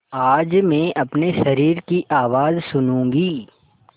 आज मैं अपने शरीर की आवाज़ सुनूँगी